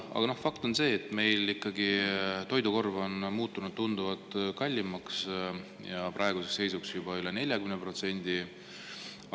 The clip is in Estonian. Aga fakt on see, et meil ikkagi toidukorv on muutunud tunduvalt kallimaks, praeguseks juba üle 40%.